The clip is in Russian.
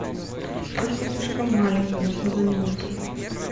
подушка слишком маленькая нужно заменить ее